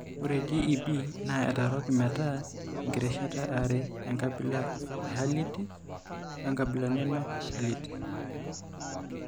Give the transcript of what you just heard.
Ore JEB naa etooroki metaa inkirishat are: enkabila e Herlitz oenkabila nemeHerlitz.